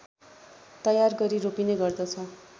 तयार गरी रोपिने गर्दछ